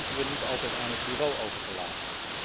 Dat hoeven we niet altijd aan het Bureau over te laten.